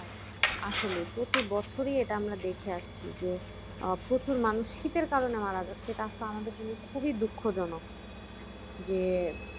আসলেই প্রতি বছরই এটা আমরা দেখে আসছি যে আহ প্রচুর মানুষ শীতের কারণে মারা যাচ্ছে এটা আসলে আমাদের জন্য খুবই দুঃখজনক যে